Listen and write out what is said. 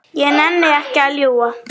Ég nenni ekki að ljúga.